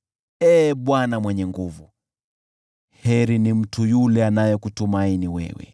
Ee Bwana Mwenye Nguvu Zote, heri ni mtu yule anayekutumaini wewe.